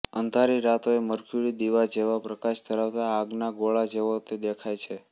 અંધારી રાતોએ મર્ક્યુરી દીવા જેવા પ્રકાશ ધરાવતા આગના ગોળા જેવો તે દેખાય છે